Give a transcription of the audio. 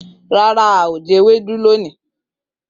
Rara, ao je ewedu loni.